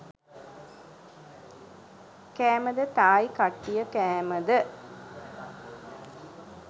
කෑමද තායි කට්ටිය කෑමද?